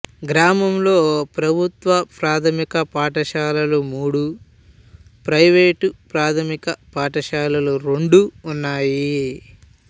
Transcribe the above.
గ్రామంలో ప్రభుత్వ ప్రాథమిక పాఠశాలలు మూడు ప్రైవేటు ప్రాథమిక పాఠశాలలు రెండు ఉన్నాయి